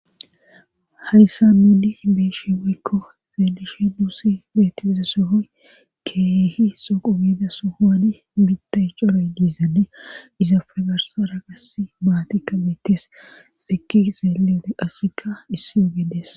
hayssa nuni beeshi wakko zeelishe duusi beettiza sohoy keehi soqo biida sohowani bitay coroy diizae izafe garsa ra qasi maatikka beettes siki zeeleode asikka issi ogedes